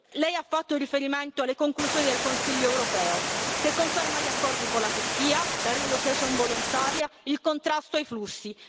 Lei ha fatto riferimento alle conclusioni del Consiglio europeo che conferma gli accordi con la Turchia, la relocation volontaria, il contrasto ai flussi.